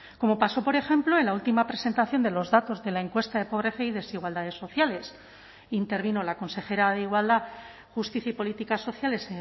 como pasó por ejemplo en la última presentación de los datos de la encuesta de pobreza y desigualdades sociales intervino la consejera de igualdad justicia y políticas sociales